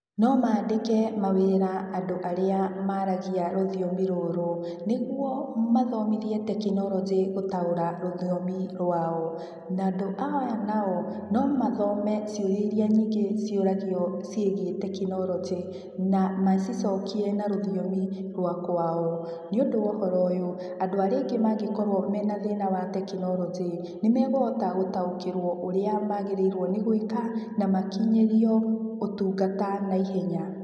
No maandĩke mawĩra andũ arĩa maaragia rũthiomi rũrũ, niguo mathomithie tekinoronjĩ gũtaũra rũthiomi rwao. Na andũ aya nao, no mathome ciũria iria nyingĩ ciũragio ciĩgiĩ tekinoronjĩ, na macicokie na rũthiomi rwa kwao. Nĩũndũ wa ũhoro ũyũ, andũ arĩa aingĩ mangĩkorwo mena thĩna wa tekinoronjĩ, nĩmegũhota gũtaũkĩrwo ũrĩa maagĩrĩirwo nĩ gwĩka, makinyĩrio ũtungata naihenya.